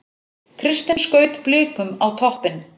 Kristinn skaut Blikum á toppinn